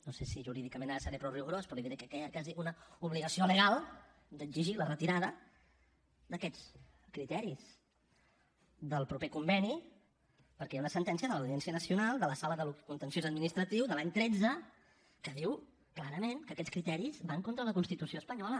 no sé si jurídicament ara seré prou rigorós però li diré que hi ha quasi una obligació legal d’exigir la retirada d’aquests criteris del proper conveni perquè hi ha una sentència de l’audiència nacional de la sala del contenciós administratiu de l’any tretze que diu clarament que aquests criteris van contra la constitució espanyola